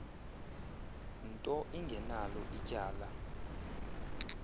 nto ingenalo ityala